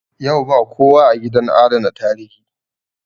Yau ba kowa a gidan adana tarihi